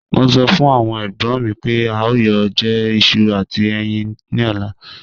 Mo sọ fun awon egbon mi pe a yoo jẹ iṣu ati ẹyin ni ọla.